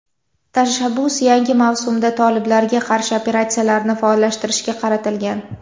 Tashabbus yangi mavsumda toliblarga qarshi operatsiyalarni faollashtirishga qaratilgan.